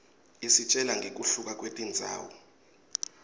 isitjela ngekuhluka kwetindzawo